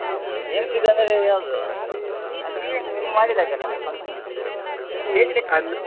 Games ದ್ದು ಅಂದ್ರೆ ಯಾವ್ದು ಅದು event ನೀವ್ ಮಾಡಿದಾಗೆ ಅಲ್ಲ ಅಂದ್ರೆ function ದ್ದು ಇದ್ರಲ್ಲಿ .